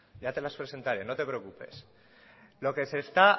ya te las presentaré no te preocupes ustedes lo único que nos